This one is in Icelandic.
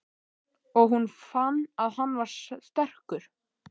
Og hún fann að hann var sterkur.